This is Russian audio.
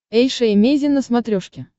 эйша эмейзин на смотрешке